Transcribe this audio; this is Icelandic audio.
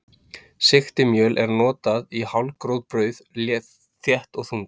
Sigtimjöl er notað í hálfgróf brauð, þétt og þung.